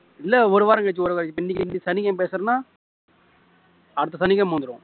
இல்ல ஒரு வாரம் கழிச்சு ஒரு வாரம் கழிச்சு வரும் கழிச்சு இன்னைக்கு இன்னைக்கு சனிக்கிழமை பேசுறேன்னா அடுத்த சனிக்கிழமை வந்துரும்